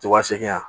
Wa segin a